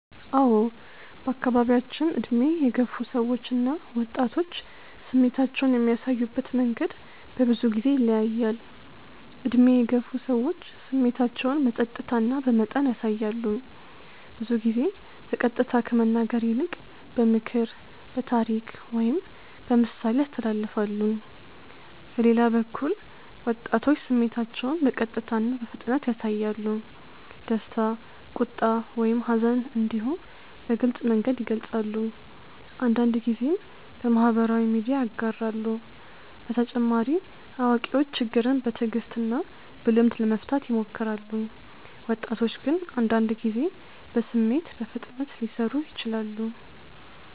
አዎ በአካባቢያችን ዕድሜ የገፉ ሰዎች እና ወጣቶች ስሜታቸውን የሚያሳዩበት መንገድ በብዙ ጊዜ ይለያያል። ዕድሜ የገፉ ሰዎች ስሜታቸውን በጸጥታ እና በመጠን ያሳያሉ። ብዙ ጊዜ በቀጥታ ከመናገር ይልቅ በምክር፣ በታሪክ ወይም በምሳሌ ያስተላልፋሉ። በሌላ በኩል ወጣቶች ስሜታቸውን በቀጥታ እና በፍጥነት ያሳያሉ። ደስታ፣ ቁጣ ወይም ሐዘን እንዲሁ በግልጽ መንገድ ይገልጻሉ፤ አንዳንድ ጊዜም በማህበራዊ ሚዲያ ያጋራሉ። በተጨማሪ አዋቂዎች ችግርን በትዕግስት እና በልምድ ለመፍታት ይሞክራሉ፣ ወጣቶች ግን አንዳንድ ጊዜ በስሜት በፍጥነት ሊሰሩ ይችላሉ።